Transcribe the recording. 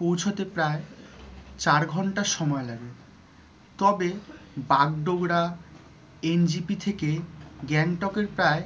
পৌঁছতে প্রায় চার ঘন্টা সময় লাগে। তবে বাগডোগরা NJP থেকে গ্যাংটক এর প্রায়